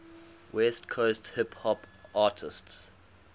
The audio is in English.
west coast hip hop artists